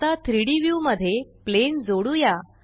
आता 3डी व्यू मध्ये प्लेन जोडुया